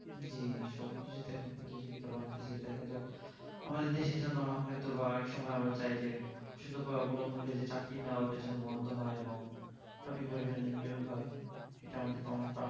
জি সব কিছুতে এখন প্রতিযোগিতা বাড়তেছে দেখা যাক আমাদের দেশের জন্য হয় তো বা এক সময় চাই যে সিদ্ধ উপায় অবলম্বন করে যে চাকরি না ওটা যেন বন্দ হয় এবং সঠিক ভাবে যেন নিয়োগ হয় এটা আমাদের কম পা